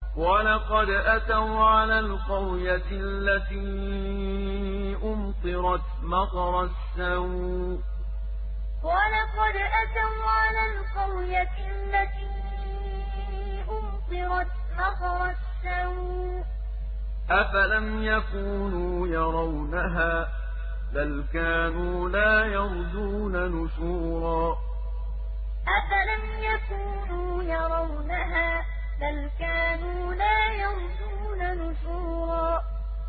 وَلَقَدْ أَتَوْا عَلَى الْقَرْيَةِ الَّتِي أُمْطِرَتْ مَطَرَ السَّوْءِ ۚ أَفَلَمْ يَكُونُوا يَرَوْنَهَا ۚ بَلْ كَانُوا لَا يَرْجُونَ نُشُورًا وَلَقَدْ أَتَوْا عَلَى الْقَرْيَةِ الَّتِي أُمْطِرَتْ مَطَرَ السَّوْءِ ۚ أَفَلَمْ يَكُونُوا يَرَوْنَهَا ۚ بَلْ كَانُوا لَا يَرْجُونَ نُشُورًا